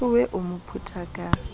towe o mo phetha ka